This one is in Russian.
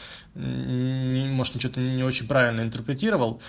может что-то не очень правильно интерпретировал